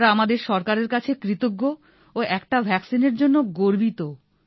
আমরা আমাদের সরকারের কাছে কৃতজ্ঞ ও একটা ভ্যাক্সিনের জন্য গর্বিতও